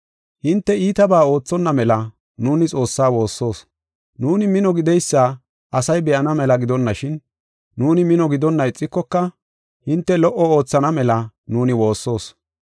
Hinte iitabaa oothonna mela nuuni Xoossaa woossoos. Nuuni mino gideysa asay be7ana mela gidonashin, nuuni mino gidonna ixikoka, hinte lo77o oothana mela nuuni woossoos.